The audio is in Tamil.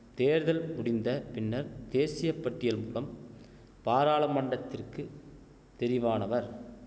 தேர்தல் முடிந்த பின்னர் தேசியப்பட்டியல்மூலம் பாராளமண்டத்திற்குத் தெரிவானவர்